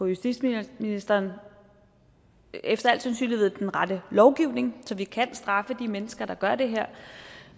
justitsministeren efter al sandsynlighed den rette lovgivning så vi kan straffe de mennesker der gør det her